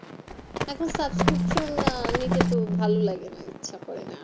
এখুন susbcription আহ নিতে তো ভালো লাগে না ইচ্ছে করে না